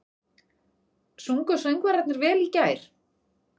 Sungu söngvararnir vel í gær?